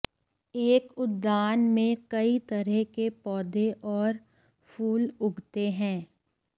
एक उद्यान में कई तरह के पौधे और फूल उगते हैं